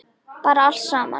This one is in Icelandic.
Bara allt saman.